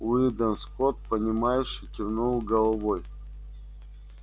уидон скотт понимающе кивнул головой